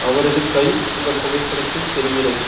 அவரது கை இந்த புகைப்படத்தில் தெரிகிறது.